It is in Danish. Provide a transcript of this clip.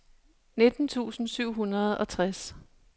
nitten tusind syv hundrede og tres